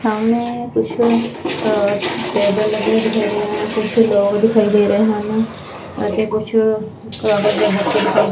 ਸਾਹਮਣੇ ਕੁਝ ਟੇਬਲ ਲਗੇ ਹੁਏ ਹੈ ਕੁਛ ਲੋਗ ਦਿਖਾਈ ਦੇ ਰਹੇ ਹਨ ਅਤੇ ਕੁਛ--